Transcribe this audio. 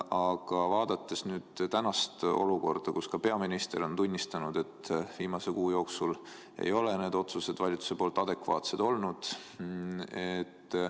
Aga vaadakem tänast olukorda, kus ka peaminister on tunnistanud, et viimase kuu jooksul ei ole valitsuse otsused adekvaatsed olnud.